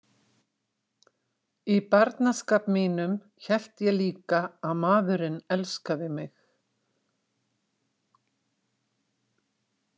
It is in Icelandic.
Í barnaskap mínum hélt ég líka að maðurinn elskaði mig.